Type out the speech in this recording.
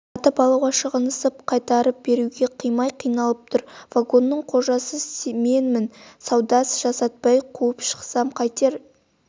сатып алуға шығынсынып қайтарып беруге қимай қиналып тұр вагонның қожасы менмін сауда жасатпай қуып шықсам қайтер